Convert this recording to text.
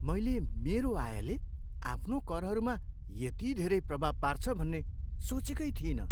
मैले मेरो आयले आफ्नो करहरूमा यति धेरै प्रभाव पार्छ भन्ने सोचेकै थिइनँ।